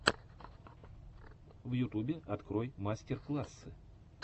в ютубе открой мастер классы